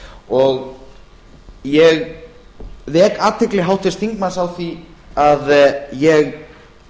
og ég vek athygli háttvirts þingmanns á því að ég